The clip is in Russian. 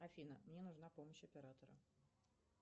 афина мне нужна помощь оператора